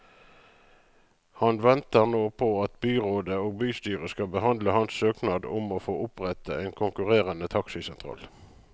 Han venter nå på at byrådet og bystyret skal behandle hans søknad om å få opprette en konkurrerende taxisentral.